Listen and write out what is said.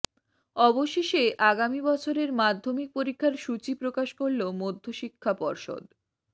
অবশেষে আগামী বছরের মাধ্যমিক পরীক্ষার সূচি প্রকাশ করল মধ্যশিক্ষা পর্ষদ